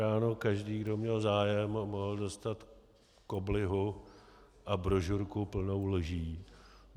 Ráno každý, kdo měl zájem, mohl dostat koblihu a brožurku plnou lží.